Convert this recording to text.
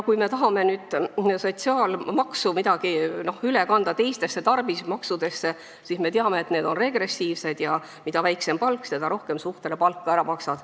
Kui me tahame nüüd sotsiaalmaksu kuidagi üle kanda teistesse tarbimismaksudesse, siis me teame, et need on regressiivsed ja mida väiksem palk, seda rohkem suhtena palka ära maksad.